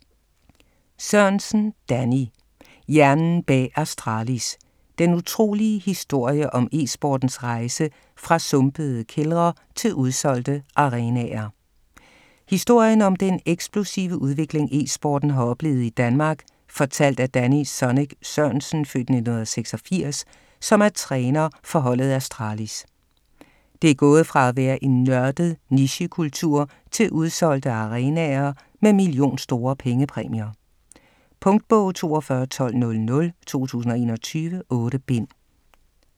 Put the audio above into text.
Sørensen, Danny: Hjernen bag Astralis: den utrolige historie om e-sportens rejse fra sumpede kældre til udsolgte arenaer Historien om den eksplosive udvikling "e-sporten" har oplevet i Danmark fortalt af Danny "Zonic" Sørensen (f. 1986) som er træner for holdet Astralis. Det er gået fra at være en nørdet nichekultur til udsolgte arenaer med million-store pengepræmier. Punktbog 421200 2021. 8 bind.